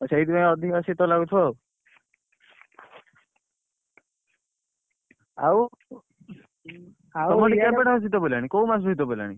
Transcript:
ଓ ସେଇଥିପାଇଁ ଅଧିକ ଶୀତ ଲାଗୁଥିବ ଆଉ ଆଉ ତମର କେବେଠାରୁ ଶୀତ ପଇଲାଇ କୋଉ ମାସରୁ ଶୀତପଇଲାଣି?